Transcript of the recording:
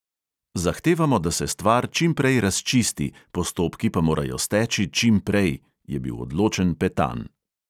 "Zahtevamo, da se stvar čim prej razčisti, postopki pa morajo steči čim prej," je bil odločen petan.